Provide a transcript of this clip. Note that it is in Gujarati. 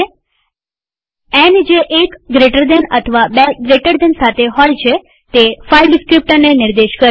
ન જે એક જમણા ખૂણાવાળા કૌંસ અથવા બે જમણા ખૂણાવાળા કૌંસ સાથે હોય છે તે ફાઈલ ડીસ્ક્રીપ્ટરને નિર્દેશ કરે છે